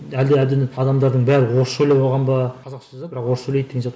әлде адамдардың бәрі орысша ойлап алған ба қазақша жазады бірақ орысша ойлайды деген сияқты